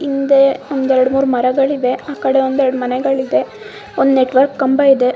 ಹಿಂದೆ ಒಂದ್ ಎರಡ್ ಮೂರ್ ಮರಗಳಿವೆ ಆಕಡೆ ಒಂದ್ ಎರಡ್ ಮನೆಗಳು ಇದೆ ಒಂದ್ ನೆಟ್ವರ್ಕ್ ಕಂಬ ಇದೆ .